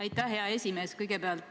Aitäh, hea esimees!